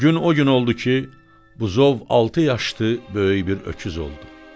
Gün o gün oldu ki, buzov altı yaşdı böyük bir öküz oldu.